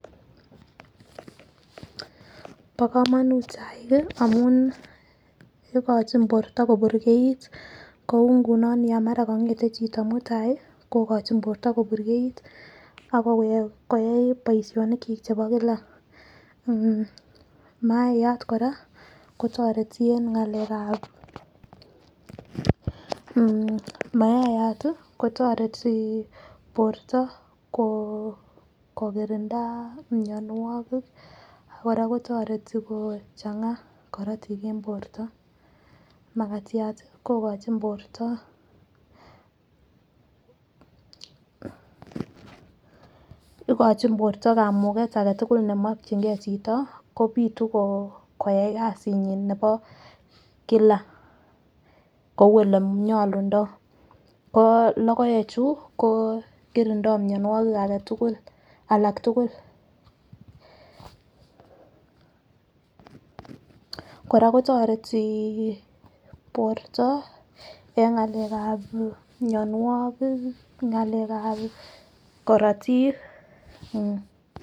Bo komonut chaik kii amun ikochi borto koburkait kou ngunon yon mara kongeten chito mutai kokochi borto koburgeit abakoyai koyai boishonik chik chebonik chik chebo Kila mmh mayat Koraa kotoreti en ngalekab mmh mayayat tii kotoreti borto koo kokirindaa mionwokik akoraa kotoreti kochanga korotik en borto. Makatyat tii kokochi borto ikochi borto kamuket agetukul nemokingee chito kopitu koo koyai kasinyin nebo kila kou olenyolundoo ko lokoek chuu ko kirindoo mionwokik agetukul alak tukuk . Koraa kotoreti borto en ngalekab mionwokik ngalekab korotik mmh.